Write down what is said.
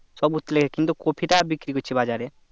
সব উঠলে কিন্তু কপি টা বিক্রি করছি বাজারে